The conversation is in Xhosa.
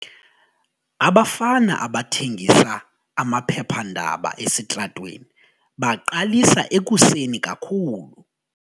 Abafana abathengisa amaphephandaba esitratweni baqalisa ekuseni kakhulu.